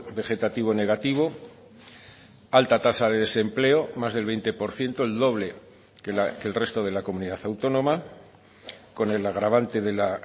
vegetativo negativo alta tasa de desempleo más del veinte por ciento el doble que el resto de la comunidad autónoma con el agravante de la